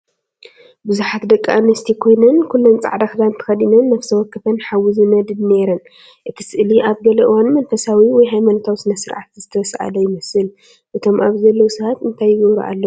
ብዙሓት ደቂ ኣንስትዮ ኮይነን ኩለን ጻዕዳ ክዳን ተኸዲነን ነፍሲ ወከፈን ሓዊ ዝነድድ ነይረን። እቲ ስእሊ ኣብ ገለ እዋን መንፈሳዊ ወይ ሃይማኖታዊ ስነ-ስርዓት ዝተሳእለ ይመስል። እቶም ኣብዚ ዘለዉ ሰባት እንታይ ይገብሩ ኣለዉ?